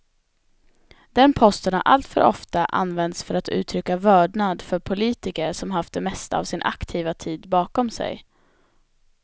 Den posten har alltför ofta använts för att uttrycka vördnad för politiker som haft det mesta av sin aktiva tid bakom sig.